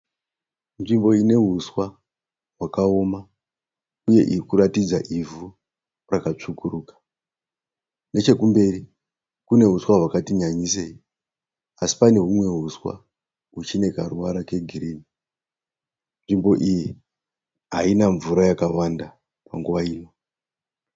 Nzvimbo ine huswa hwakaoma uye irikuratidza ivhu rakatsvukuruka nechekumberi kune huswa hwakati nyanyisei asi pane humwe huswa huchine karuvara kegirini , nzvimbo iyi haina mvura yakawanda panguva ino.